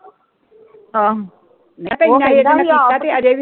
ਆਹੋ